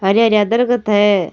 हरी हरी दरकत है।